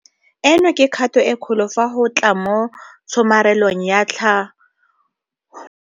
Eno ke kgato e kgolo fa go tla mo tshomarelong ya tlha go le mo phetolothefosanong ya beng ba naga.